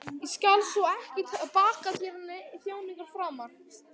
Ég skal svo ekki baka þér þjáningar framar.